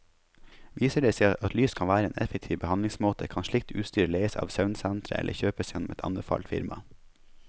Viser det seg at lys kan være en effektiv behandlingsmåte, kan slikt utstyr leies av søvnsetret eller kjøpes gjennom et anbefalt firma.